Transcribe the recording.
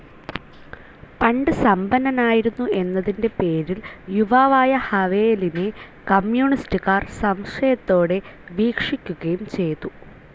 പണ്ട് സമ്പന്നനായിരുന്നു എന്നതിന്റെ പേരിൽ യുവാവായ ഹവേലിനെ കമ്യൂണിസ്റ്റുകാർ സംശയത്തോടെ വീക്ഷിക്കുകയും ചെയ്തു.